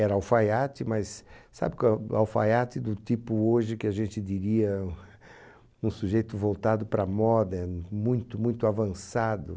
Era alfaiate, mas sabe qual é alfaiate do tipo hoje que a gente diria um sujeito voltado para a moda, muito, muito avançado.